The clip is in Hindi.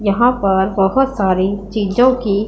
यहां पर बहुत सारी चीजों की--